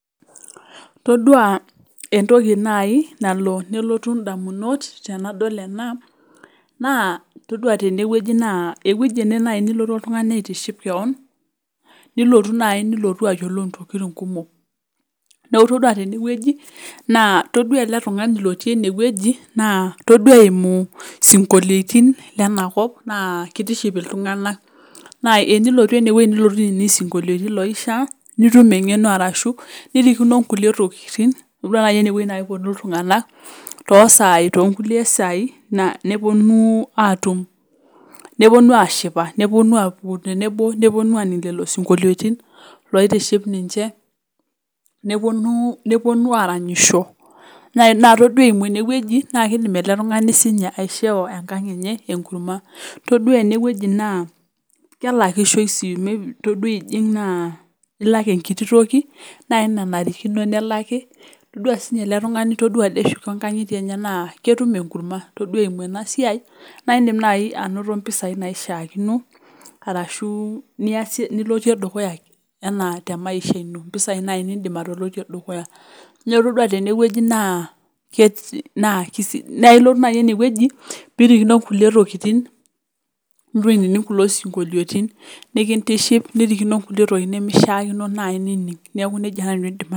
Todua etoki naai nalo nelotu damunot tenadol naa, todua tene wueji naa ewueji ene naaji nilotu oltungani aitiship kewon nilotu naai nilotu ayiolou intokitin kumok . Neaku todua tene wueji naa todua ele tung'ani lotii ene wueji naa, todua eimu sikoliotin lenakop naa kitiship iltunganak. Naa enilotu ene wueji nilotu ainining isikoliotin loishaa nitum engeno arashu, nirikino kulie tokitin. Todua naaji ene wueji naa keponu iltunganak too sai too kulie sai neponu atum neponu ashipa neponu atumo tenebo neponu ashipakino lelo sikoliotin loitiship ninche. Neponu aranyisho naa todua eimu ene wueji naa, keidim ele tung'ani sininye aishoo enkang enye ekurma. Todua ene wueji naa, kelakishoi sii todua ijing naa, ilak ekiti toki nenarikino nelaki. Todua sininye ele tung'ani todua ade eshuko inkangitie enye naa ketum ekurma. Todua eimu ena siai naa idim naaji anoto impisai naishiakino arashu, nilotie dukuya enaa te maisha ino pisai naaji nilotie temaisha dukuya. Todua tene wueji naa ilotu naaji ene wueji pirikino kulie tokitin nilotu aining kulo siokoliotin nikitiship nirikino kulie tokitin nemeishakino naaji nining. Neaku nejia naaji nanu aidim atejo.